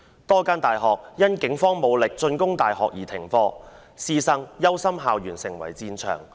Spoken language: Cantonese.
多間大學因警方武力進攻大學而停課，師生憂心校園成為戰場。